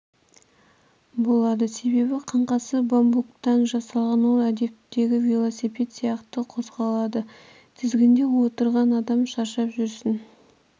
болады себебі қаңқасы бамбуктан жасалған ол әдеттегі вилосипед сияқты қозғалады тізгінде отырған адам шаршап жүрісін